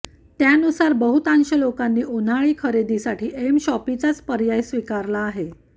त्यानुसार बहुतांश लोकांनी उन्हाळी खरेदीसाठी एमशॉपीचाच पर्याय स्वीकारला आहे